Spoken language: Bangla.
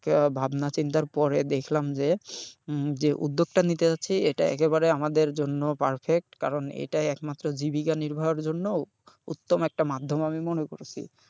ভাবনা চিন্তার পরে দেখলাম যে হম যে উদ্যোগটা নিতে যাচ্ছি এটা একেবারে আমাদের জন্য perfect কারণ এটাই একমাত্র জীবিকা নির্বাহের জন্যও উত্তম একটা মাধ্যম আমি মনে করেছি।